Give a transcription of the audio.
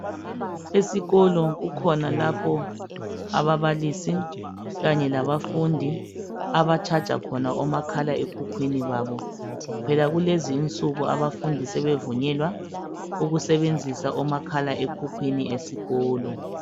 Esikolo kukhona lapho ababalisi kanye labafundi aba"charger"khona omakhalekhukhwini babo. Phela kulezi insuku abafundi sebevunyelwa ukusebenzisa omakhala ekhukhwini esikolo.